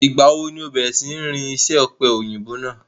Ìgbà wo ni ǹ o bẹ̀rẹ̀ sí ní rí isẹ́ ọ̀pẹ̀-òyìnbò náà?